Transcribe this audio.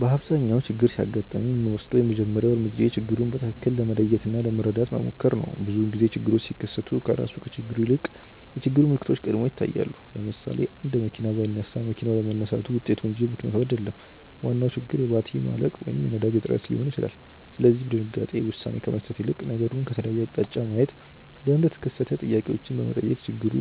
በአብዛኛው ችግር ሲያጋጥመኝ የምወስደው የመጀመሪያው እርምጃዬ ችግሩን በትክክል ለመለየት እና ለመረዳት መሞከር ነው። ብዙውን ጊዜ ችግሮች ሲከሰቱ ከራሱ ከችግሩ ይልቅ የችግሩ ምልክቶች ቀድመው ይታያሉ። ለምሳሌ፣ አንድ መኪና ባይነሳ መኪናው አለመነሳቱ ውጤቱ እንጂ ምክንያቱ አይደለም፤ ዋናው ችግር የባትሪ ማለቅ ወይም የነዳጅ እጥረት ሊሆን ይችላል። ስለዚህ በድንጋጤ ውሳኔ ከመስጠት ይልቅ ነገሩን ከተለያየ አቅጣጫ ማየት፣ ለምን እንደተከሰተ ጥያቄዎችን በመጠየቅ ወደችግሩ